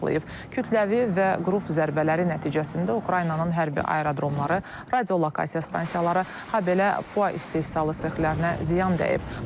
Kütləvi və qrup zərbələri nəticəsində Ukraynanın hərbi aerodromları, radiolokasiya stansiyaları, habelə PUA istehsalı sexlərinə ziyan dəyib.